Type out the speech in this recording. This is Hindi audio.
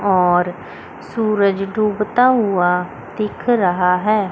और सूरज डूबता हुआ दिख रहा है।